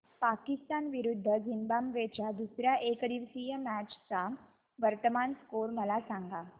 पाकिस्तान विरुद्ध झिम्बाब्वे च्या दुसर्या एकदिवसीय मॅच चा वर्तमान स्कोर मला सांगा